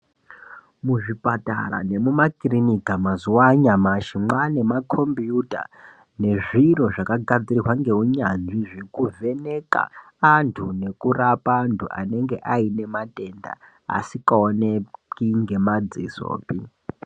Muzvipatara nemumakirinika, mazuwanyamashe, mwanema khompiyutha nezviro zvakagadzirwa ngewunyazvi zvekuvheneka antu nekurapa antu anenge anematenda asingawoneki ngemadzisope.